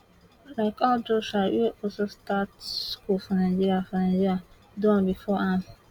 like how joshua wey also start school for nigeria for nigeria do bifor am